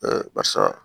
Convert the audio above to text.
barisa